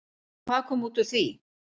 Og hvað kom út úr því?